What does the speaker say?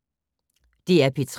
DR P3